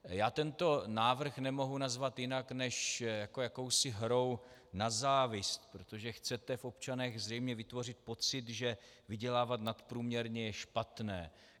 Já tento návrh nemohu nazvat jinak než jako jakousi hrou na závist, protože chcete v občanech zřejmě vytvořit pocit, že vydělávat nadprůměrně je špatné.